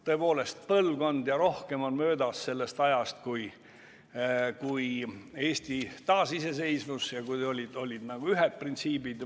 Tõepoolest, põlvkond ja rohkem on möödas sellest ajast, kui Eesti taasiseseisvus ja kui olid nagu ühed printsiibid.